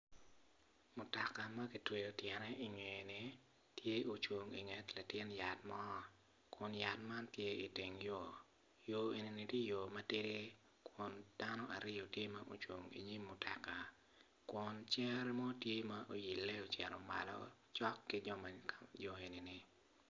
Mutoka ma kitweyo tyene i ngeye-ni tye ocung i nget latin yat mo kun yat man tye i teng yo, yo eni tye yo matidi kun dano aryo tye ocung i nyim mutoka kun cere mo tye oile ocito malo cok ki joneni.